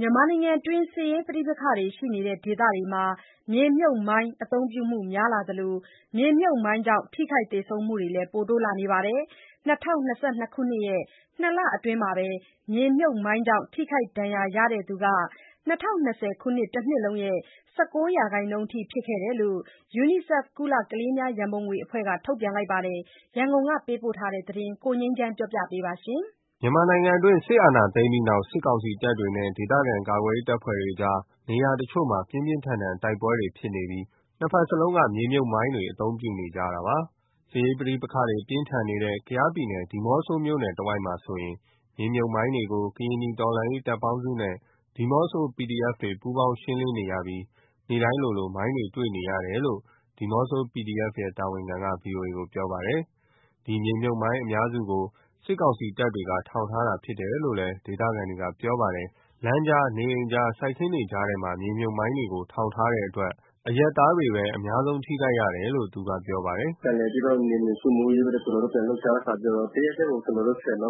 မြန်မာနိုင်ငံတွင်း စစ်ရေးပဋိပက္ခတွေရှိနေတဲ့ဒေသတွေမှာ မြေမြှုပ်မိုင်းအသုံးပြုမှုများလာသလို မြေမြှုပ်မိုင်းကြောင့် ထိခိုက်သေဆုံးမှုတွေလည်း တိုးလာနေပါတယ်။ ၂၀၂၂ ခုနှစ်ရဲ့ နှစ်လအတွင်းမှာပဲ မြေမြှုပ်မိုင်းကြောင့် ထိခိုက်ဒဏ်ရာရသူဟာ ၂၀၂၀ ခုနှစ်တနှစ်လုံးရဲ့ ၁၉ ရာခိုင်နှုန်းအထိဖြစ်ခဲ့တယ်လို့ UNICEF ကုလ ကလေးများရံပုံငွေအဖွဲ့က ထုတ်ပြန်ပါတယ်။ ရန်ကုန်က ပေးပို့လာတဲ့သတင်းကို ကိုငြိမ်းချမ်းက တင်ပြပေးထားပါတယ်။ မြန်မာနိုင်ငံတွင်း စစ်အာဏာသိမ်းပြီးနောက် စစ်ကောင်စီတပ်တွေနဲ့ ဒေသခံကာကွယ်ရေးအဖွဲ့တွေကြား နိုင်ငံနေရာတချို့မှာ ပြင်းပြင်းထန်ထန်တိုက်ပွဲတွေရှိနေပြီး နှစ်ဘက်စလုံးက မြေမြှုပ်မိုင်းတွေအသုံးပြုနေကြတာပါ။ စစ်ရေးပဋိပက္ခတွေပြင်းထန်နေတဲ့ ကယားပြည်နယ်၊ ဒီးမော့ဆိုမြို့နယ်တဝိုက်မှာဆိုရင် မြေမြှုပ်မိုင်းတွေကို ကရင်နီတော်လှန်ရေးတပ်ပေါင်းစုနဲ့ ဒီးမော့ဆို PDF တွေ ပူးပေါင်းရှင်းလင်းနေရပြီး နေ့တိုင်းလိုလို မိုင်းတွေတွေ့နေရတယ်လို့ ဒီးမော့ဆို PDF ရဲ့ တာဝန်ခံက ဗွီအိုအေကို ပြောပါတယ်။ ဒီမြေမြှုပ်မိုင်း အများစုကို စစ်ကောင်စီတပ်တွေက ထောင်ထားတာဖြစ်တယ်လို့ ဒေသခံတွေက ပြောပါတယ်။ လမ်းကြား၊ နေအိမ်ကြား၊ စိုက်ခင်းတွေကြားထဲမှာ မြေမြှုပ်မိုင်းတွေကို ထောင်ထားတဲ့အတွက် အရပ်သားတွေကပဲ အများဆုံး ထိခိုက်ကြတယ်လို့ သူကပြောပါတယ်။ "ဟိုနေ့က (ဒီးမော့ဆိုမှာ) ကျနော်တို့ နယ်မြေစိုးမိုးရေး ပြန်လှုပ်ရှားတဲ့အခါမှာ တရက်တည်းကို ၁၀ လုံး၊ ၉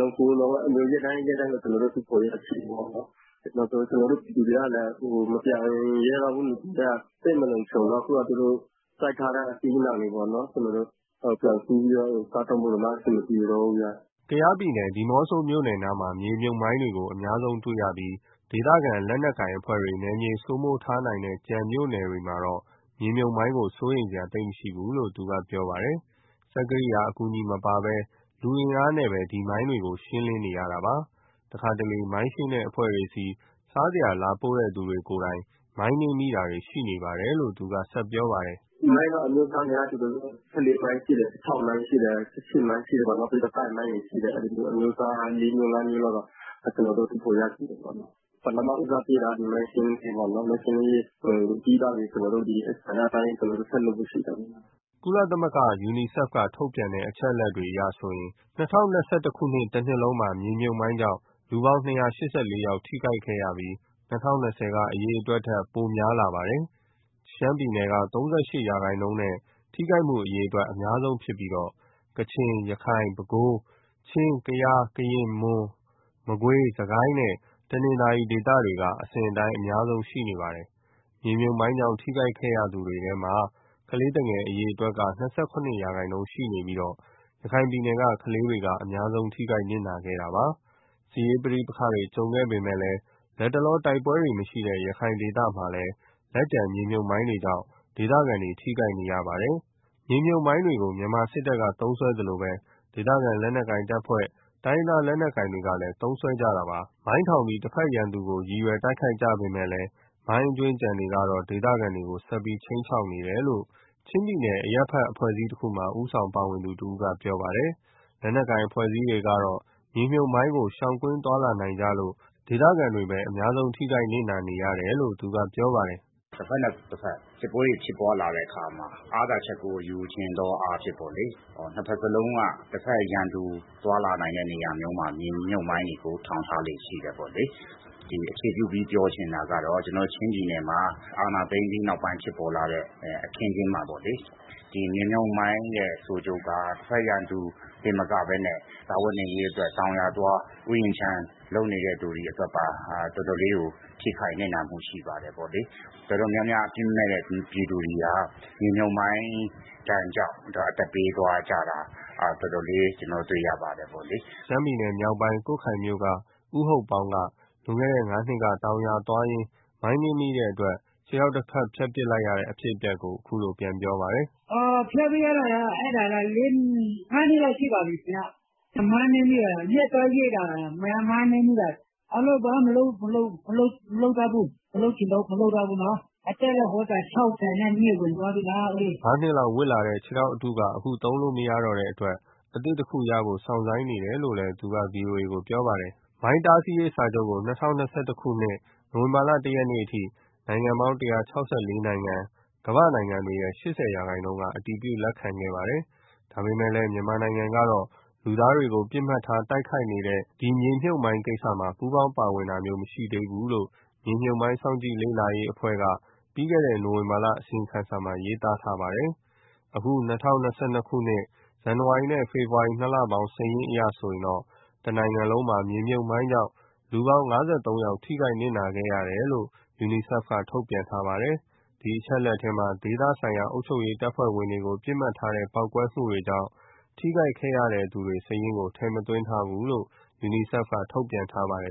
လုံး အဲလို ရက်တိုင်း၊ ရက်တိုင်း တူးဖော်ရရှိတယ်။ နောက်ဆုံး ကျနော်တို့ ပြည်သူတွေကလည်း မပြန်ရဲတော့ဘူး။ နဂိုကတည်းက သိပ်မလုံခြုံတော့ အခုသူတို့စိုက်ထားတဲ့ အသီးအနှံတွေပေါ့နော် ပြန်ခူးပြီးတော့ စားသုံးဖို့တောင် အဆင်မပြေတော့ဘူး။" ကယားပြည်နယ်၊ ဒီးမော့ဆိုမြို့နယ်နားမှာ မြေမြှုပ်မိုင်းကို အများဆုံးတွေ့ရပြီး ဒေသကိုင်လက်နက်ကိုင်အဖွဲ့တွေ နယ်မြေစိုးမိုးထားနိုင်တဲ့ ကျန်တဲ့မြို့နယ်တွေမှာတော့ မြေမြှုပ်မိုင်းကို သိပ်စိုးရိမ်စရာမရှိဘူးလို့ သူကပြောပါတယ်။ စက်ကိရိယာ အကူအညီမပါဘဲ လူအားနဲ့ပဲ ဒီမိုင်းတွေကို ရှင်းလင်းနေရတာပါ။ တခါတလေ မိုင်းရှင်းတဲ့အဖွဲ့တွေဆီ စားစရာလာပို့တဲ့ သူတွေကိုယ်တိုင် မိုင်းနင်းမိတာတွေ ရှိနေပါတယ်လို့ သူကဆက်ပြောပါတယ်။ "မိုင်းကတော့ အမျိုးအစား အများကြီးပဲ။ ၁၄ မိုင်းရှိတယ်၊ ၁၆ မိုင်းရှိတယ်၊ ၁၈ မိုင်းရှိတယ်။ နောက်ပြီး တိုက်မိုင်းတွေရှိတယ်။ အဲလို အမျိုးအစား လေးငါးမျိုးလောက် ကျနော်တို့ တူးဖော်ရရှိတယ်။ ပထမဦးစားပေးတာက ဒီမိုင်းရှင်းလင်းရေးပေါ့နော် ဒါပြီးသွားရင် ကျန်တဲ့ကဏ္ဍပိုင်း ဆက်လုပ်ဖို့ရှိပါတယ်။" UNICEF က ထုတ်ပြန်တဲ့ အချက်အလက်တွေအရဆိုရင် ၂၀၂၁ ခုနှစ်တနှစ်လုံးမှာ မြေမြှုပ်မိုင်းကြောင့် လူပေါင်း ၂၈၄ ယောက် ထိခိုက်ခဲ့ပြီး ၂၀၂၀ ကအရေအတွက်ထက် ပိုလာပါတယ်။ ရှမ်းပြည်နယ်က ၃၈ ရာခိုင်နှုန်းနဲ့ ထိခိုက်မှုအရေအတွက် အများဆုံးဖြစ်ပြီး ကချင်၊ ရခိုင်၊ ပဲခူး၊ ချင်း၊ ကယား၊ ကရင်၊ မွန်၊ မကွေး၊ စစ်ကိုင်းနဲ့ တနင်္သာရီ ဒေသတွေက အစဉ်အတိုင်း အများဆုံးရှိနေပါတယ်။ မြေမြှုပ်မိုင်းကြောင့် ထိခိုက်ခဲ့ရသူတွေထဲမှာ ကလေးသူငယ်က အရေအတွက်က ၂၇ ရာခိုင်နှုန်းရှိပြီး ရခိုင်ပြည်နယ်က ကလေးတွေက အများဆုံး ထိခိုက်နစ်နာခဲ့တာပါ။ စစ်ရေးပဋိပက္ခတွေကြုံခဲ့ပေမယ့် လတ်တလောတိုက်ပွဲတွေမရှိတဲ့ ရခိုင်ဒေသမျိုးမှာလည်း လက်ကျန်မြေမြုပ်မိုင်းတွေကြောင့် ဒေသခံတွေ ထိခိုက်နေရတုန်းပါ။ မြေမြှုပ်မိုင်းတွေကို မြန်မာစစ်တပ်က သုံးစွဲသလိုပဲ ဒေသခံလက်နက်ကိုင်အဖွဲ့တွေ၊ တိုင်းရင်းသားလက်နက်ကိုင်တွေကလည် သုံးစွဲခဲ့ကြတာပါ။ မိုင်းထောင်ပြီး တဘက်ရန်သူကို ရည်ရွယ်တိုက်ခိုက်ကြပေမယ့် မိုင်းအကြွင်းအကျန်တွေကတော့ ဒေသခံတွေကို ဆက်ပြီးခြိမ်းခြောက်နေတယ်လို့ ချင်းပြည်နယ် အရပ်ဘက်အဖွဲ့အစည်းတခုမှာ ဦးဆောင်ပါဝင်သူတဦးက ပြောပါတယ်။ လက်နက်ကိုင် အဖွဲ့အစည်းတွေကတော့ မြေမြှုပ်မိုင်းကို ရှောင်ကွင်းသွားလာနိုင်ကြလို့ ဒေသခံတွေကပဲ အများဆုံး ထိခိုက်နစ်နာရတယ်လို့ သူကပြောပါတယ်။ "တဘက်နဲ့တဘက် စစ်ပွဲတွေ ဖြစ်ပွားလာတဲ့အခါမှာ အားသာချက်ကို ယူချင်သောအားဖြင့်ပေါ့လေ။ နှစ်ဘက်စလုံးက တဘက်ရန်သူ သွားလာနိုင်တဲ့ နေရာမျိုးမှာ မြေမြှုပ်မိုင်းတွေကို ထောင်ထားလေ့ရှိတယ် ပေါ့လေ။ အခြေပြုပြီး ပြောချင်တာက ကျနော်တို့ချင်းပြည်နယ်မှာ အာဏာသိမ်းပြီးနောက်ပိုင်း ဖြစ်ပေါ်လာတဲ့ အခင်းအကျင်းမှာပေါ့လေ မြေမြှုပ်မိုင်းရဲ့ ဆိုးကျိုးက တဘက်ရန်သူတင်မကဘဲနဲ့ စားဝတ်နေရေးအတွက် တောင်ယာသွား၊ ဥယျာဉ်ခြံလုပ်နေသူတွေအတွက်ပါ တော်တော်လေး ထိခိုက်နစ်နာမှု ရှိပါတယ်ပေါ့လေ။ တော်တော်များများ အပြစ်မဲ့တဲ့ပြည်သူတွေဟာ မြေမြှုပ်မိုင်းဒဏ်ကြောင့် အသက်ပေးသွားကြတာ တော်တော်လေး ကျနော်တို့ တွေ့ရပါတယ်။" ရှမ်းပြည်နယ်မြောက်ပိုင်း၊ ကွတ်ခိုင်မြို့က ဦးဟုတ်ပေါင်းက လွန်ခဲ့တဲ့ငါးနှစ်က တောင်ယာသွားရင်း မိုင်းနင်းမိလို့ ခြေထောက်တဖက် ဖြတ်ပစ်လိုက်ရတဲ့ အဖြစ်အပျက်ကို ပြန်ပြောပြပါတယ်။ "(ခြေထောက်) ဖြတ်ပစ်လိုက်ရတာက ငါးနှစ်လောက်ရှိပြီ။ မြက်သွားရိတ်တာ မိုင်းနင်းမိတာ။ အလုပ်က မလုပ်တော့ဘူး၊ မလုပ်ချင်တော့ဘူး။ အသက်လည်း ၆၂ ဝင်သွားပြီ။" ငါးနှစ်လောက်ဝတ်လာတဲ့ ခြေထောက်အတုက အခုသုံးလို့မရတော့တဲ့အတွက် အသစ်တခုရဖို့ စောင့်ဆိုင်းနေတယ်လို့ သူက ဗွီအိုအေကိုပြောပါတယ်။ မိုင်းတားဆီးရေးစာချုပ်ကို ၂၀၂၁ နိုဝင်ဘာ ၁ ရက်အထိ နိုင်ငံပေါင်း ၁၆၄ နိုင်ငံ ( ကမ္ဘာ့နိုင်ငံတွေရဲ့ ၈၀ ရာခိုင်နှုန်း) က အတည်ပြု လက်ခံခဲ့ပါတယ်။ ဒါပေမယ့် မြန်မာနိုင်ငံကတော့ လူသားတွေကို ပစ်မှတ်ထား တိုက်ခိုက်နေတဲ့ ဒီမြေမြှုပ်မိုင်းကိစ္စမှာ ပူးပေါင်းပါဝင်တာ မရှိသေးဘူလို့ မြေမြှုပ်မိုင်း စောင့်ကြည့်လေ့လာရေးအဖွဲ့ ( Landmine & Cluster Munition Monitor ) က ပြီးခဲ့တဲ့ နိုဝင်ဘာလ အစီရင်ခံစာမှာ ရေးသားထားပါတယ်။ အခု ၂၀၂၂ ခုနှစ် ဇန်နဝါရီနဲ့ ဖေဖော်ဝါရီ ၂ လပေါင်း စာရင်းအရဆိုရင်တော့ တနိုင်ငံလုံးမှာ မြေမြှုပ်မိုင်းကြောင့် လူပေါင်း ၅၃ ယောက် ထိခိုက်နစ်နာ ခဲ့တယ်လို့ UNICEF က ထုတ်ပြန်ထားပါတယ်။ ဒီအချက်အလက်ထဲမှာ ဒေသဆိုင်ရာအုပ်ချုပ်ရေး တပ်ဖွဲ့ဝင်တွေကို ပစ်မှတ်ထားတဲ့ ပေါက်ကွဲမှုတွေကြောင့် ထိခိုက်ခံခဲ့သူတွေရဲ့ စာရင်းကိုတော့ ထည့်သွင်းမထားဘူးလို့ UNICEF က ထုတ်ပြန်ထားပါတယ်